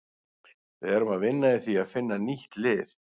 Við erum að vinna í því að finna nýtt lið.